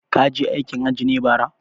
Kaje aikin hajji ne bara?